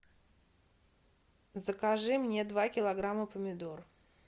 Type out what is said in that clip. закажи мне два килограмма помидор